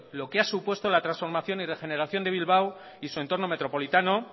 lo que ha supuesto la transformación y regeneración de bilbao y su entorno metropolitano